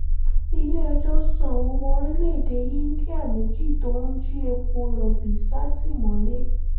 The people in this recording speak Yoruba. ilé-ẹjọ́ sọ àwọn ọmọ orílẹ̀‐èdè íńdíà méjì tó ń jí epo rọ̀bì sátìmọ́lé